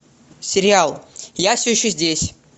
сериал я все еще здесь